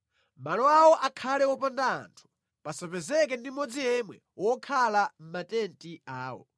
Malo awo akhale wopanda anthu pasapezeke ndi mmodzi yemwe wokhala mʼmatenti awo.